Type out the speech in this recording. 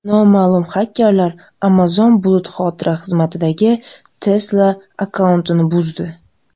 Noma’lum xakerlar Amazon bulut xotira xizmatidagi Tesla akkauntini buzdi.